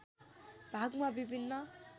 भागमा विभिन्न